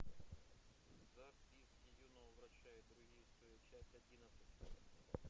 записки юного врача и другие истории часть одиннадцать